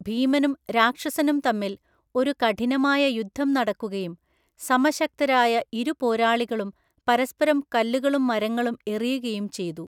ഭീമനും രാക്ഷസനും തമ്മിൽ ഒരു കഠിനമായ യുദ്ധം നടക്കുകയും സമശക്തരായ ഇരു പോരാളികളും പരസ്പരം കല്ലുകളും മരങ്ങളും എറിയുകയും ചെയ്തു.